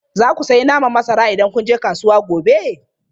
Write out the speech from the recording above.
Za ku sayi naman masara idan kun je kasuwa gobe?